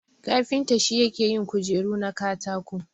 Kafinta shi yake yin kujeru na katako.